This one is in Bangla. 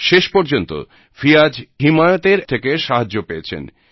শেষ পর্যন্ত ফিয়াজ হিমায়ত থেকে সাহায্য পেয়েছেন